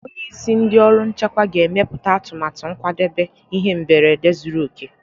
Onye isi ndị ọrụ nchekwa ga-emepụta atụmatụ nkwadebe ihe mberede zuru oke.